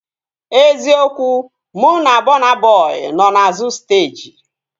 Eziokwu, mụ na Bọna Bọi nọ n'azụ steeji